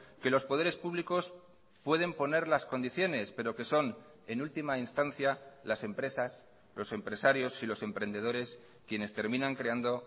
que los poderes públicos pueden poner las condiciones pero que son en última instancia las empresas los empresarios y los emprendedores quienes terminan creando